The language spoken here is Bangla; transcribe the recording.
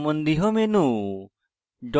অণু সম্বন্ধীয় menu